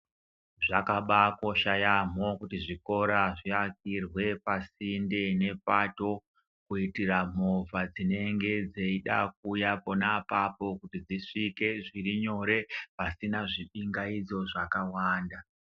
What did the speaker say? Zvakabaakosha yaamho kuti zvikora zviakirwe pasinde nepato kuitira movha dzinenge dzeida kuuya pona appointment kuti dzisvike zviri nyore pasina zvipingaidzo zvakawanda.